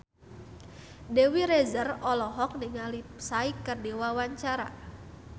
Dewi Rezer olohok ningali Psy keur diwawancara